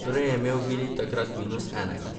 Torej je imel Vili takrat minus enega.